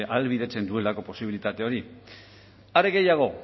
ahalbidetzen duelako posibilitate hori are gehiago